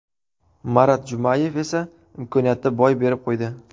Marat Jumayev esa imkoniyatni boy berib qo‘ydi.